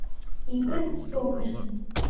игорь солнышкин